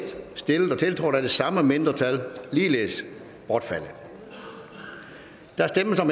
stillet og tiltrådt af de samme mindretal bortfaldet der stemmes om